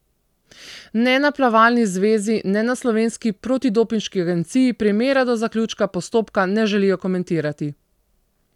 Ne na plavalni zvezi ne na slovenski protidopinški agenciji primera do zaključka postopka ne želijo komentirati.